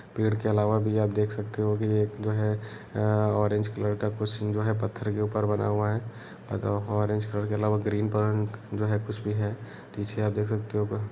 पेड़ के अलावा भी आप देख सकते हो की एक जो हैं अ अ ऑरेंज कलर का कुछ जो हैं पत्थर के ऊपर बना हुआ है पत्थरों पर ऑरेंज कलर के अलावा ग्रीन जो हैं कुछ भी हैं पीछे आप देख सकते हो।